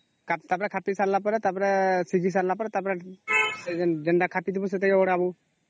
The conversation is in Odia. ଟା ପରେ ଖାପି ସରିଲା ପରେ ସିଝି ସରିଲା ପରେ ଟା ପରେ ସେ ଯୋଉ ନ ଖାପି ଥିବୁ ସେଟା କି କାଢ଼ ହବ